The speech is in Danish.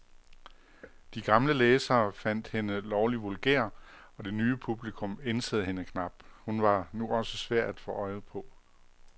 De gamle læsere fandt hende lovlig vulgær, og det nye publikum ænsede hende knap, hun var nu også svær at få øje på.